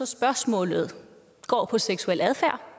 spørgsmålet går på seksuel adfærd